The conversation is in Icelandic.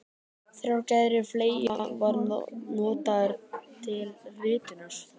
Þrjár gerðir fleyga voru notaðar til ritunar.